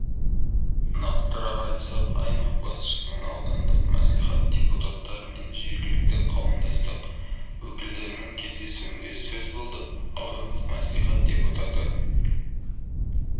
нақтырақ айтсақ аймақ басшысының аудандық мәслихат депутаттарымен жергілікті қауымдастық өкілдерімен кездесуінде сөз болды аудандық мәслихат депутаты